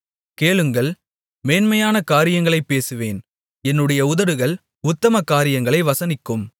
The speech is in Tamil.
கேளுங்கள் மேன்மையான காரியங்களைப் பேசுவேன் என்னுடைய உதடுகள் உத்தம காரியங்களை வசனிக்கும்